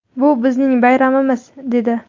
Bu – bizning bayramimiz!” – dedi.